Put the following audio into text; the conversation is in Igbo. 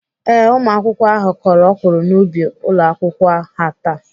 Ee, ụmụakwụkwọ ahụ kọrọ ọkwụrụ n'ubi ụlọakwụkwọ ha taa.